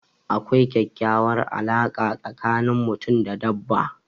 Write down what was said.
Akwai kekyauwar alarka tsakani mutum da dabba